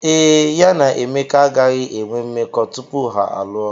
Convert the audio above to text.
Ee, ya na Emeka agaghị enwe mmekọ tupu ha alụọ.